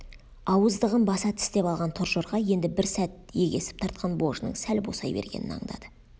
ауыздығын баса тістеп алған торжорға енді бір сәт егесіп тартқан божының сәл босай бергенін андады